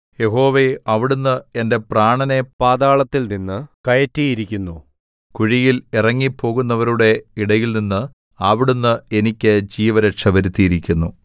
യഹോവേ അവിടുന്ന് എന്റെ പ്രാണനെ പാതാളത്തിൽനിന്ന് കയറ്റിയിരിക്കുന്നു കുഴിയിൽ ഇറങ്ങി പോകുന്നവരുടെ ഇടയിൽനിന്ന് അവിടുന്ന് എനിക്ക് ജീവരക്ഷ വരുത്തിയിരിക്കുന്നു